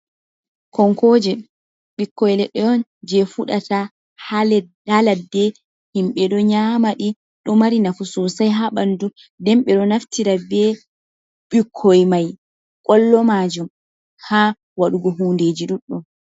Konkojoe ɓikkoi leɗɗe on jei fuɗata ha ladde, himɓe ɗo nyama ɗi, ɗo mari nafu sosai ha ɓandu den ɓe ɗo naftira be ɓikkoi mai kollo majum ha waɗugo hundeeji ɗuɗɗum.